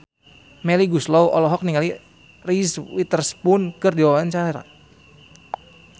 Melly Goeslaw olohok ningali Reese Witherspoon keur diwawancara